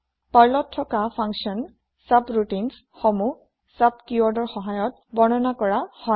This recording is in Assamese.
পাৰ্লত থকা ফান্কসন ছাবৰাউটিন্স সমূহ চুব কিৱৰ্ড ৰ সহায়ত বৰ্ণনা কৰা হয়